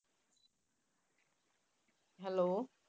Hello